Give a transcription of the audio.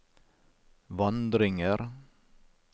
vandringer